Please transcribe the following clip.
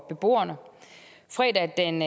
beboerne fredag den